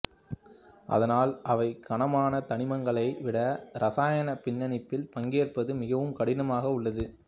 அதனால் அவை கனமான தனிமங்களை விட இரசாயன பிணைப்பில் பங்கேற்பது மிகவும் கடினமாக உள்ளது